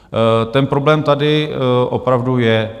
Ten problém tady opravdu je.